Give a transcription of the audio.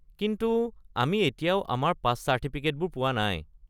কিন্তু আমি এতিয়াও আমি আমাৰ পাছ চাৰ্টিফিকেটবোৰ পোৱা নাই।